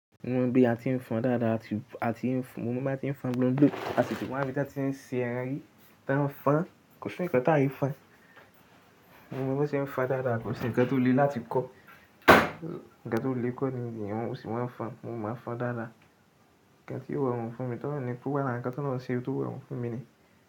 Mo mọ bí a ti ń fọn dáadáa, mo mọ bí a ti ń fọn blonblon. A sì ti wa ibi tí a ti ń ṣe ẹran yìí tí a ń fọn. Kò sí ǹkan tí aì fọn, mo mọ bí wọ́n ṣe ń fọn dáadáa kò sí ǹkan tó le láti kọ́, ǹkan tó le kọ́ ni gbogbo yàn wọ́n máa ń fọn. Mo mọ fọn dáadáa, ǹkan tí yóò rọ èwọ̀n fún mi torí pé kò wá lára ǹkan to olorun ṣe, tó wẹ òun fún mi ni.